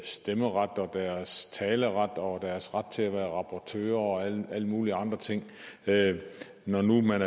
stemmeret deres taleret og deres ret til at være rapporteurer og alle mulige andre ting når nu man